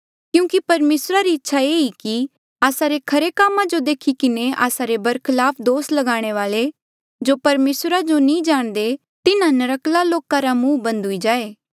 क्यूंकि परमेसरा री इच्छा ये ई कि आस्सा रे खरे कामा जो देखी किन्हें आस्सा रे बरखलाफ दोस लगाणे वाले जो परमेसरा जो नी जाणदे तिन्हा नर्क्कले लोका रा मुंह बंद हुई जाये